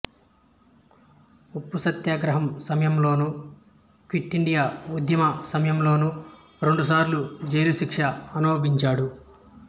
ఉప్పు సత్యాగ్రం సమయంలోనూ క్విట్ ఇండియా ఉద్యమ సమయంలోనూ రెండుసార్లు జైలు శిక్ష అనుభవించాడు